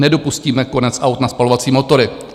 Nedopustíme konec aut na spalovací motory.